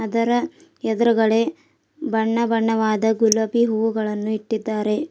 ತರ ಎದುರುಗಡೆ ಬಣ್ಣ ಬಣ್ಣವಾದ ಗುಲಾಬಿ ಹೂಗಳನ್ನು ಇಟ್ಟಿದ್ದಾರೆ.